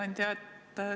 Hea ettekandja!